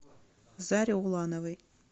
заре улановой